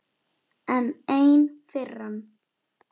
Enn ein firran.